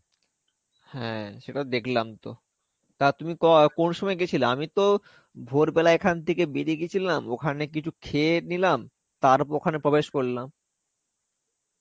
হ্যাঁ, সেটা দেখলাম তো. তা তুমি কো~ কোনসময় গেছিলে? আমিতো ভোর বেলায় এখান থেকে বেরিয়ে গেছিলাম. ওখানে কিছু খেয়ে নিলাম. তারপর ওখানে প্রবেশ করলাম.